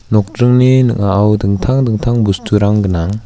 nokjringni ning·ao dingtang dingtang bosturang gnang.